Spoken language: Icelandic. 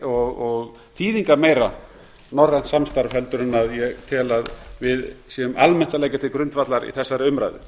og þýðingarmeira norrænt samstarf heldur en ég tel að við séum almennt að leggja til grundvallar í þessari umræðu